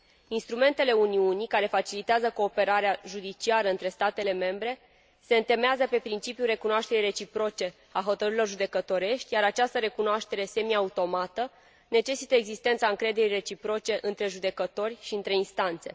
Instrumentele Uniunii, care facilitează cooperarea judiciară între statele membre, se întemeiază pe principiul recunoașterii reciproce a hotărârilor judecătorești, iar această recunoaștere semi automată necesită existența încrederii reciproce între judecători și între instanțe.